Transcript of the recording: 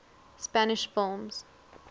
spanish films